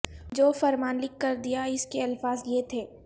جو فرمان لکھ کر دیا اس کے الفاظ یہ تھے